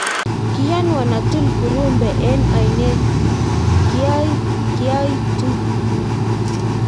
kiyonwon atul kurumbe eng' oinet kiaoitu